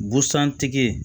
Busan tigi